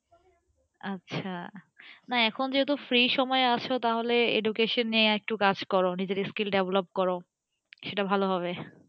আচ্ছা। না এখন যেহেতু free সময় আছো তাহলে education নিয়ে একটু কাজ করো নিজের skill develop করো, সেটা ভালো হবে।